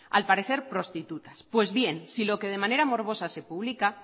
al parecer prostitutas pues bien si lo que de manera morbosa se publica